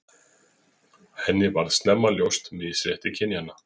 Henni varð snemma ljóst misrétti kynjanna.